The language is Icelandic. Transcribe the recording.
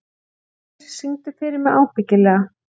Heimir, syngdu fyrir mig „Ábyggilega“.